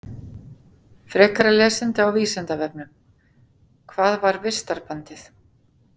Frekara lesefni á Vísindavefnum: Hvað var vistarbandið?